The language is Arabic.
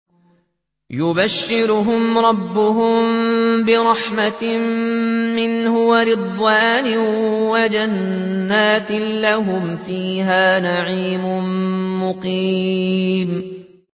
يُبَشِّرُهُمْ رَبُّهُم بِرَحْمَةٍ مِّنْهُ وَرِضْوَانٍ وَجَنَّاتٍ لَّهُمْ فِيهَا نَعِيمٌ مُّقِيمٌ